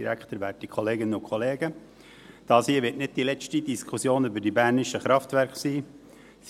Diese hier wird nicht die letzte Diskussion über die bernischen Kraftwerke sein.